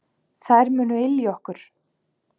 Þær munu ylja okkur.